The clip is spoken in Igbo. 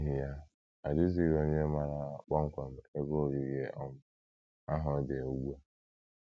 N’ihi ya, ọ dịghịzi onye maara kpọmkwem ebe ogige um ahụ dị ugbu a.